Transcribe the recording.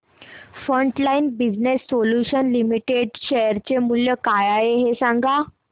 frontline business solutions limited share चे मूल्य काय आहे हे सांगा